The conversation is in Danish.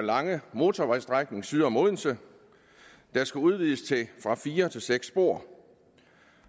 lange motorvejsstrækning syd om odense der skal udvides fra fire til seks spor